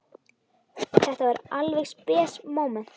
Þetta var alveg spes móment.